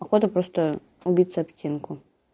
походу просто убиться об стенку